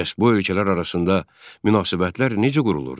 Bəs bu ölkələr arasında münasibətlər necə qurulurdu?